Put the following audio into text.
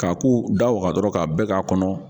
K'a k'u da waga dɔrɔn k'a bɛɛ k'a kɔnɔ.